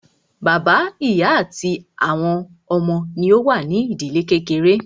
Bàbá, ìyá àti àwọn ọmọ wọn ní o wà ní ìdílé kékeré.